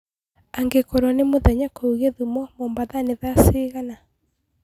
angĩkorwo nĩ mũthenya kũũ gĩthũmo mombatha nĩ thaa cĩĩgana